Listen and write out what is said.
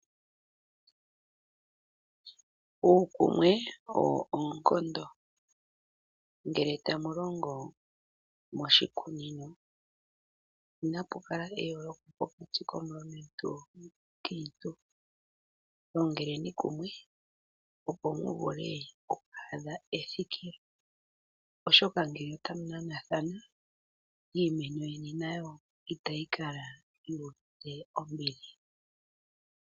Uukumwe owo oonkondo, ngele tamu longo moshikunino inapu kala eyooloko pokati komulumentu nomukiintu longeleni kumwe opo muvule oku adha ethikilo, oshoka ngele otamu nanathana iimeno yeni nayo itayi kala yu uvite ombili.